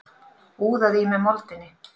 Úðað í mig moldinni.